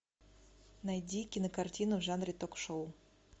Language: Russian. найди кинокартину в жанре ток шоу